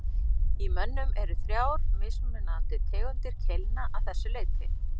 Í mönnum eru þrjár mismunandi tegundir keilna að þessu leyti.